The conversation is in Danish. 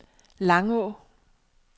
Langå